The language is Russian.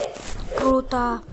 круто